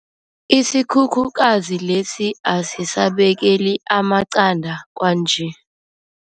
Isikhukhukazi lesi asisabekeli amaqanda kwanje.